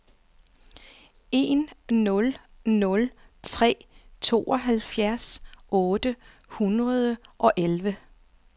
en nul nul tre tooghalvfjerds otte hundrede og elleve